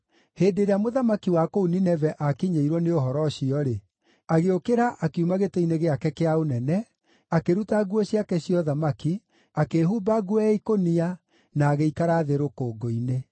Hĩndĩ ĩrĩa mũthamaki wa kũu Nineve aakinyĩirwo nĩ ũhoro ũcio-rĩ, agĩũkĩra akiuma gĩtĩ-inĩ gĩake kĩa ũnene, akĩruta nguo ciake cia ũthamaki, akĩĩhumba nguo ya ikũnia, na agĩikara thĩ rũkũngũ-inĩ.